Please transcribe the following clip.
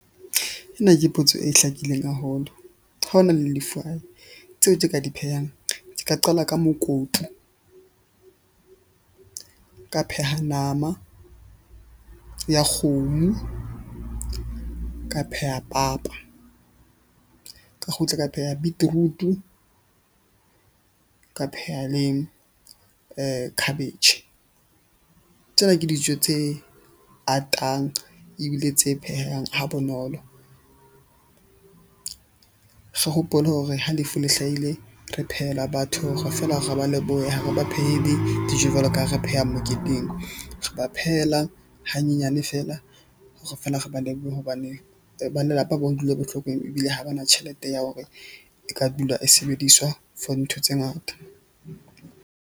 Ena ke potso e hlakileng haholo, ha ho na le lefu hae tseo ke ka di phehang, ke ka qala ka mokopu, ka pheha nama ya kgomo, ka pheha papa, ka kgutla, ka pheha beetroot-o. Ka pheha le cabbage. Tsena ke dijo tse atang ebile tse phehang ha bonolo hopole hore ha lefu le hlahile, re phehela batho hore feela re ba lebohe ha re ba phehele dijo jwalo ka ha re pheha moketeng. Re ba phehela hanyenyane feela hore feela re ba lebohe hobane ba lelapa ba utlwile bohloko ebile ha ba na tjhelete ya hore e ka dula e sebediswa for ntho tse ngata.